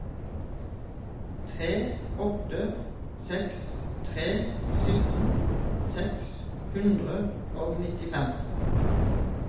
tre åtte seks tre sytten seks hundre og nittifem